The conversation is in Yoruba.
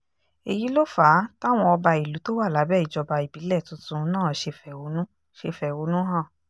èyí ló fà á táwọn ọba ìlú tó wà lábẹ́ ìjọba ìbílẹ̀ tuntun náà ṣe fẹ̀hónú ṣe fẹ̀hónú hàn